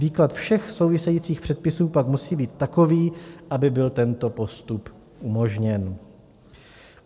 Výklad všech souvisejících předpisů pak musí být takový, aby byl tento postup umožněn.